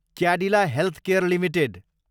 Cadillac healthcare Ltd